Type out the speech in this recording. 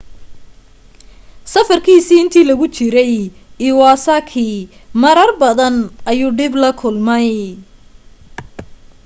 safarkiisii intii lagu jiray iwasaki marar badan ayuu dhib la kulmay